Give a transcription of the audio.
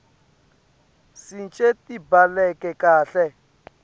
cishe tibhaleke kahle